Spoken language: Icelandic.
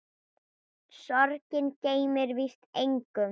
Sorgin gleymir víst engum.